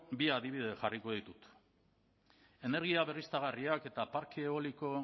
bi adibide jarriko ditut energia berriztagarriak eta parke eoliko